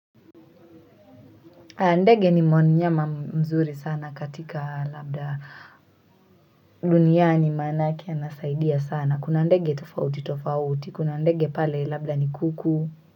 Ndege ni mnyama mzuri sana katika labda duniani manake anasaidia sana. Kuna ndege tofauti tofauti. Kuna ndege pale labda ni kuku.